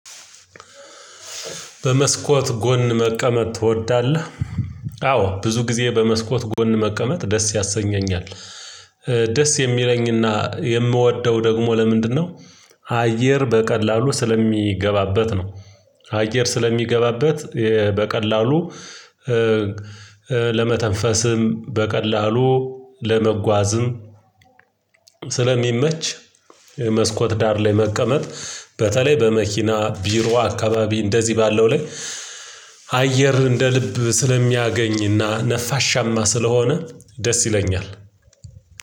በመስኮት ጎን መቀመጥ ትወዳለህ? አዎ ብዙ ጊዜ በመስኮት ጎን መቀመጥ ደስ ያሰኘኛል ደስ የሚለኝና የምወደው ደግሞ ለምንድነው አየር በቀላሉ ስለሚገባበት ነው አየር ስለሚገባበት በቀላሉ ለመተንፈስም በቀላሉ ለመጓዝም ስለሚመች መስኮት ዳር ላይ መቀመጥ በተለይ በመኪና ቢሮ አካባቢ እንደዚህ ባለው ላይ አየር እንደ ልብ ስለሚያገኝና ነፋሻማ ስለሆነ ደስ ይለኛል